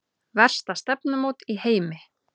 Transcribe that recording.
Versta stefnumót í heimi